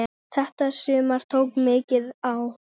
Þetta sumar tók mikið á.